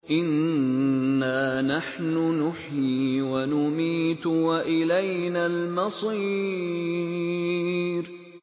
إِنَّا نَحْنُ نُحْيِي وَنُمِيتُ وَإِلَيْنَا الْمَصِيرُ